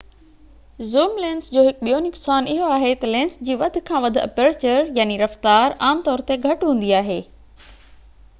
zoom lenses جو هڪ ٻيو نقصان اهو آهي ته لينس جي وڌ کان وڌ اپرچر رفتار عام طور تي گهٽ هوندي آهي